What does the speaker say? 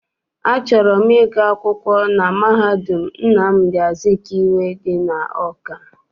Achọrọ m ịgụ akwụkwọ na mahadum Nnamdi Azikiwe dị n'Awka.